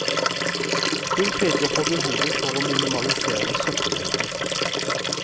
Hun peker på behovet for å minimalisere søppelmengden.